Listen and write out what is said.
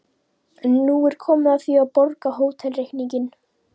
En nú er komið að því að borga hótelreikninginn.